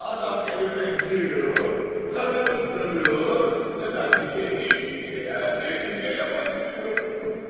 Adam evimə giriyor, karımı döyür və mən bir şey, heç bir şey, evet, heç bir şey yapa bilmirəm.